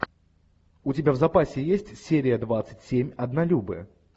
у тебя в запасе есть серия двадцать семь однолюбы